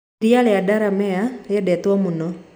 Iria rĩa Delamere rĩendetwo mũno